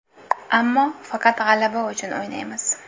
Ammo faqat g‘alaba uchun o‘ynaymiz.